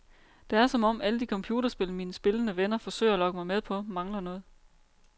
Det er som om, alle de computerspil mine spillende venner forsøger at lokke mig med på, mangler noget.